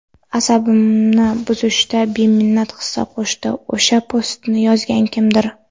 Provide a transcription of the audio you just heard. asabimni buzishda beminnat hissa qo‘shdi o‘sha postni yozgan kimdir.